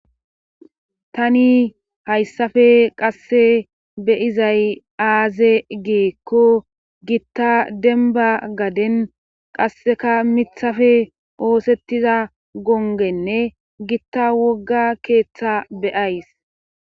tani hayssafe qasse beyizay aaze geekko gitta denba gaden qasseka mithafe oosettiza gongenne gitta wogga keeththa beyays